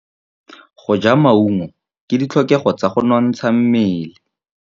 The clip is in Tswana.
Go ja maungo ke ditlhokegô tsa go nontsha mmele.